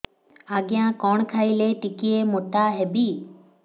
ଆଜ୍ଞା କଣ୍ ଖାଇଲେ ଟିକିଏ ମୋଟା ହେବି